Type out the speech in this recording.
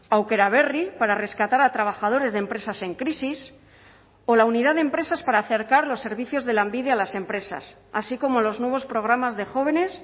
aukeraberri para rescatar a trabajadores de empresas en crisis o la unidad de empresas para acercar los servicios de lanbide a las empresas así como los nuevos programas de jóvenes